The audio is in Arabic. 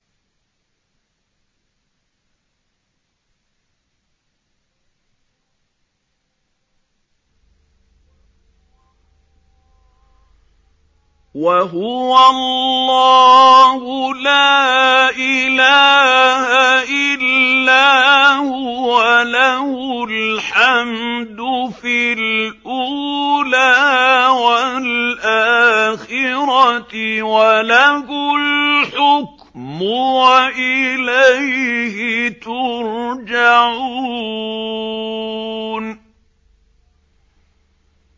وَهُوَ اللَّهُ لَا إِلَٰهَ إِلَّا هُوَ ۖ لَهُ الْحَمْدُ فِي الْأُولَىٰ وَالْآخِرَةِ ۖ وَلَهُ الْحُكْمُ وَإِلَيْهِ تُرْجَعُونَ